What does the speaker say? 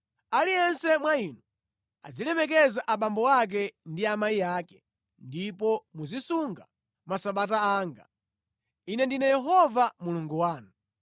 “ ‘Aliyense mwa inu azilemekeza abambo ake ndi amayi ake. Ndipo muzisunga masabata anga. Ine ndine Yehova Mulungu wanu.